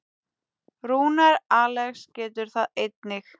Rúnar Alex getur það einnig.